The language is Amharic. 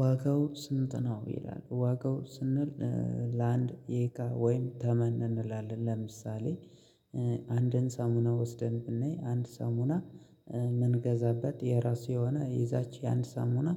ዋጋው ስንት ነው ይላል ዋጋው ስንል ለአንድ የእቃ ወይም ተመን እንላለን ለምሳሌ አንድን ሳሙና ወስደን ብናይ አንድ ሳሙና የምንገዛበት የራሱ የሆነ የዛች አንድ ሳሙና